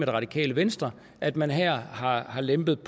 det radikale venstre at man her har har lempet